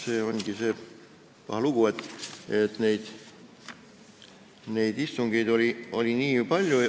Siin on see paha lugu, et neid istungeid oli nii palju.